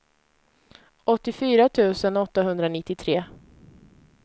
åttiofyra tusen åttahundranittiotre